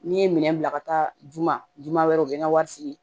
N'i ye minɛn bila ka taa juma juma wɛrɛ u bɛ n ka wari sigi